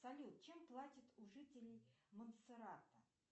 салют чем платят у жителей монтсеррато